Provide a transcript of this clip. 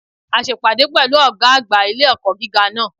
A se ìpàdé pẹ̀lú Ògá àgbà ilé-ẹ̀kọ́ gíga náà